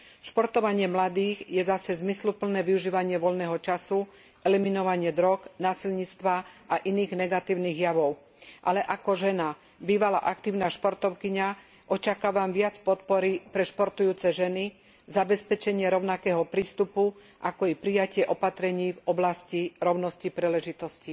Športovanie mladých je zase zmysluplné využívanie voľného času, eliminovanie drog, násilníctva a iných negatívnych javov. Ako žena bývalá aktívna športovkyňa však očakávam viac podpory pre športujúce ženy, zabezpečenie rovnakého prístupu, ako i prijatie opatrení v oblasti rovnosti príležitostí.